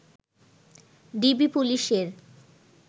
DB পুলিশের